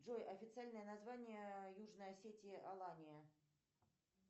джой официальное название южной осетии алания